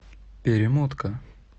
перемотка